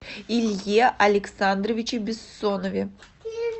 илье александровиче бессонове